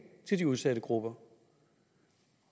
til de udsatte grupper